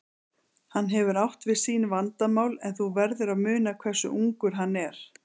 Hann hefur átt við sín vandamál, en þú verður að muna hversu ungur hann er.